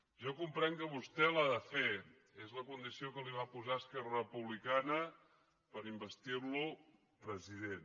jo comprenc que vostè l’ha de fer és la condició que li va posar esquerra republicana per investir lo president